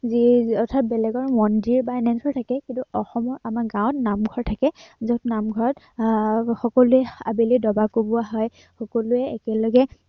যিয়েই অৰ্থাৎ বেলেগৰ মন্দিৰ বা এনেবোৰ থাকে কিন্তু অসমত আমাৰ গাঁৱত নামঘৰ থাকে। যত নামঘৰত আহ সকলোৱে আহ আবেলি ডবা কোবোৱা হয়, সকলোৱে একেলগে